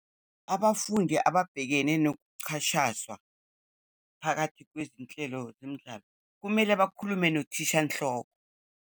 Abafundi ababhekene nokuchashazwa phakathi kwezinhlelo zemidlalo, kumele bakhulume nothishanhloko.